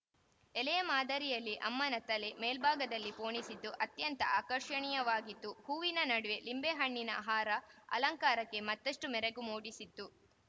ಎಲೆಯ ಮಾದರಿಯಲ್ಲಿ ಅಮ್ಮನ ತಲೆ ಮೇಲ್ಭಾಗದಲ್ಲಿ ಪೋಣಿಸಿದ್ದು ಅತ್ಯಂತ ಆಕರ್ಷಣೀಯವಾಗಿತ್ತು ಹೂವಿನ ನಡುವೆ ನಿಂಬೆಹಣ್ಣಿನ ಹಾರ ಅಲಂಕಾರಕ್ಕೆ ಮತ್ತಷ್ಟುಮೆರಗು ಮೂಡಿಸಿತ್ತು